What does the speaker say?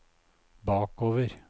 bakover